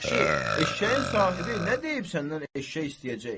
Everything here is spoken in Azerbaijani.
Yaxşı, eşşəyin sahibi nə deyib səndən eşşək istəyəcək?